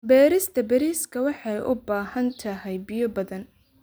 Beerista bariiska waxay u baahan tahay biyo badan.